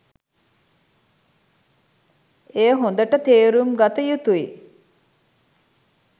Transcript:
එය හොඳට තේරුම්ගත යුතුයි.